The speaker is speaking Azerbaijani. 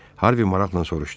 Harvi maraqla soruşdu.